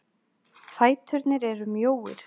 Fæturnir eru mjóir.